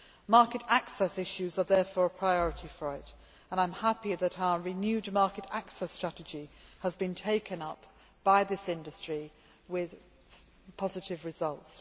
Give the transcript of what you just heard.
Market access issues are therefore a priority for it, and I am happy that our renewed market access strategy has been taken up by this industry with positive results.